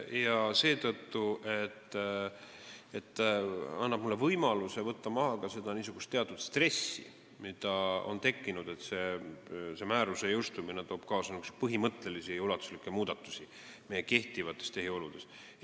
Seda seetõttu, et ta annab mulle võimaluse võtta maha teatud stressi, mis on tekkinud arvamuse tõttu, nagu määruse jõustumine tooks kaasa põhimõttelisi ja ulatuslikke muudatusi meie kehtivates tehioludes.